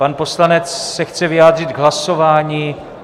Pan poslanec se chce vyjádřit k hlasování.